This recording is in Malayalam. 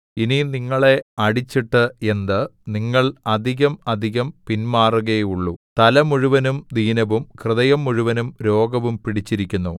ഇനി നിങ്ങളെ അടിച്ചിട്ട് എന്ത് നിങ്ങൾ അധികം അധികം പിന്മാറുകയേയുള്ളു തല മുഴുവനും ദീനവും ഹൃദയം മുഴുവനും രോഗവും പിടിച്ചിരിക്കുന്നു